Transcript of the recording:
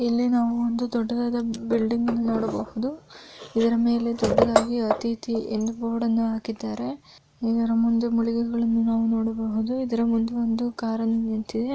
ಇಲ್ಲಿ ನಾವು ಒಂದು ದೊಡ್ಡದಾದ ಬಿಲ್ಡಿಂಗ್ ಅನ್ನು ನೊಡಬಹುದು ಇದರ ಮೆಲೆ ದೊಡ್ಡದಾಗಿ ಅಥಿತಿ ಅನ್ನುವ ಬೊರ್ಡನ್ನು ಹಾಕಿದ್ದಾರೆ ಇದರ ಮುಂದೆ ಇದರ ಮುಂದೆ ಒಂದು ಕಾರನ್ನು ನಿಂತಿದೆ .